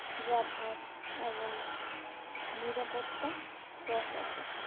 . এবং নিরাপত্তা প্রশাসক